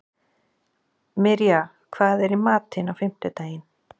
Mirja, hvað er í matinn á fimmtudaginn?